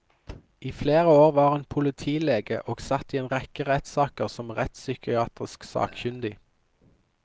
I flere år var hun politilege og satt i en rekke rettssaker som rettspsykiatrisk sakkyndig.